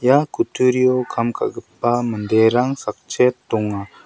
ia kutturio kam ka·gipa manderang sakchet donga.